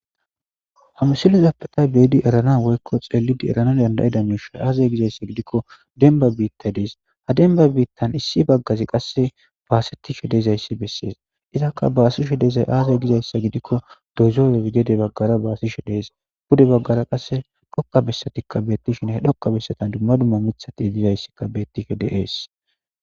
hamsilezappetay beedi erana woykko xeelidi erana dandayida miishay aazay gizayssa gidikko demba biitta dees ha denba biittan issi baggazi qasse baaseti she dezayssi bessees izakka baasi she dezay aazay gizayssa gidikko dozoye gede baggara baasishe dees bude baggara qasse dhoqa bessatikka beettishin he dhoqa bessatan dumma dumma mithati dizayssikka bettishe deees